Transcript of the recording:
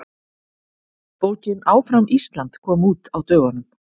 Bókin Áfram Ísland kom út á dögunum.